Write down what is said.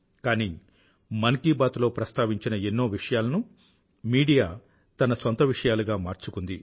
కానీ మన్ కీ బాత్ లో ప్రాస్తావించిన ఎన్నో విషయాలను మీడియా తన సొంత విషయాలుగా మార్చుకుంది